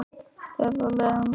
Eða leiðinlegt?